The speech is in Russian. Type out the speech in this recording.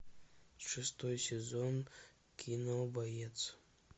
шестой сезон кино боец